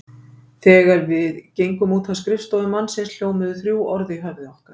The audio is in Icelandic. Þegar við gengum út af skrifstofu mannsins hljómuðu þrjú orð í höfði okkar.